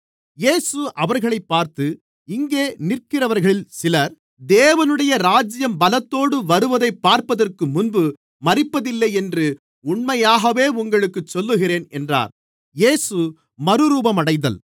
இயேசு அவர்களைப் பார்த்து இங்கே நிற்கிறவர்களில் சிலர் தேவனுடைய ராஜ்யம் பலத்தோடு வருவதைப் பார்ப்பதற்குமுன்பு மரிப்பதில்லை என்று உண்மையாகவே உங்களுக்குச் சொல்லுகிறேன் என்றார்